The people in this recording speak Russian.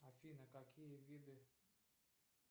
афина какие виды